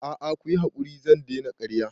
A'a kuyi hakuri zan daina karya